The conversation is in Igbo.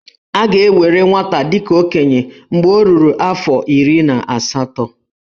A ga-ewere nwata dị ka okenye mgbe o ruru afọ iri na asatọ.